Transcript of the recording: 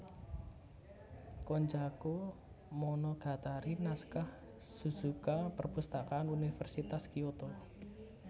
Konjaku Monogatari Naskah Suzuka Perpustakaan Universitas Kyoto